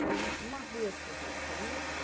Foi uma vez que aconteceu isso?